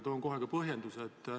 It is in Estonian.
Toon kohe ka põhjenduse.